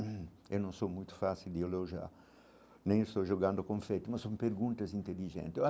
Eu não sou muito fácil de elogiar, nem estou jogando confete, mas são perguntas inteligentes eu